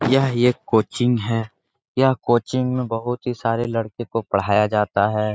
यह एक कोचिंग है यह कोचिंग में बहुत ही सारे लड़के को पढ़ाया जाता है ।